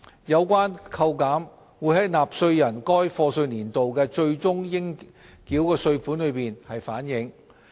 有關扣減會在納稅人該課稅年度的最終應繳稅款中反映。